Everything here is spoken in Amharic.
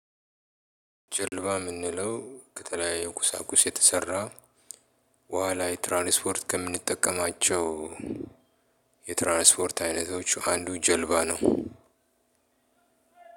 ጀልባ የምንለው ከተለያየ ቁሳቁስ የተሰራ ውሃ ላይ ትራንስፖርት ከምንጠቀማቸው የትራንስፖርት አይነቶች አንዱ ጀልባ ነው።